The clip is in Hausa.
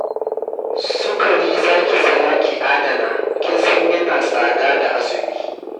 Sukari za ki saya ki adana, kin san yana tsada da azumi